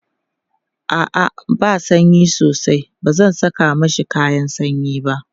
a'a ba sanyi sosai bazan Saka mashi kayan sanyi ba